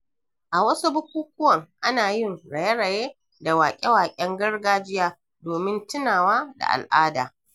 A wasu bukukuwan, ana yin raye-raye da wake-waken gargajiya domin tunawa da al'ada.